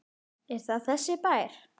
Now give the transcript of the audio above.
Er það þessi bær?